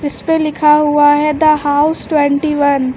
इसपे लिखा हुआ है द हाउस ट्वेंटी वन ।